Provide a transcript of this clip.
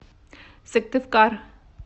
сыктывкар